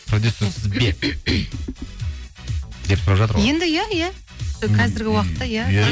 продюсерсіз бе деп сұрап жатыр ғой енді иә иә сол қазіргі уақытта иә